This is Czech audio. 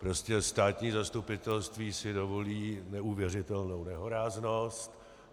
Prostě státní zastupitelství si dovolí neuvěřitelnou nehoráznost.